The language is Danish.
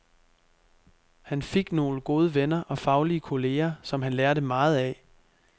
Han fik nogle gode venner og faglige kolleger, som han lærte meget af.